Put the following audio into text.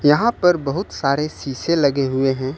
यहां पर बहुत सारे शीशे लगे हुए हैं।